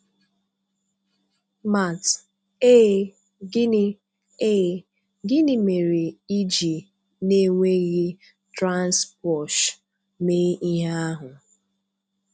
Matt: Ee, gịnị Ee, gịnị mere iji n'enweghị Transposh mee ihe ahụ?